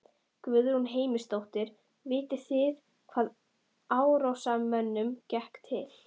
Guðrún Heimisdóttir: Vitið þið hvaða árásarmönnunum gekk til?